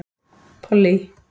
Pollý